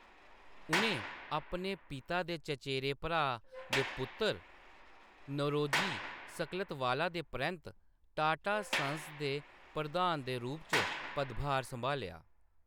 उʼनें अपने पिता दे चचेरे भ्राऽ दे पुत्तर नौरोजी सकलतवाला दे परैंत्त टाटा सन्स दे प्रधान दे रूप च पदभार सम्हालेआ।